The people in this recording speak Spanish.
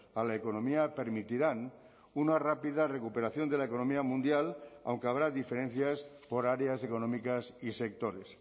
a la economía permitirán una rápida recuperación de la economía mundial aunque habrá diferencias por áreas económicas y sectores